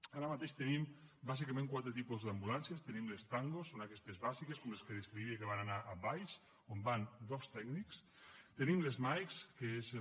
ara mateix tenim bàsicament quatre tipus d’ambulàncies tenim les tango són aquestes bàsiques com la que descrivia que van anar a valls on van dos tècnics tenim les mike que són les